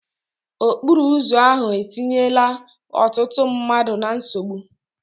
Okporo ụzọ ahụ etinyela ọtụtụ mmadụ na nsogbu.